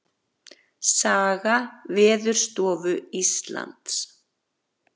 Saga Veðurstofu Íslands.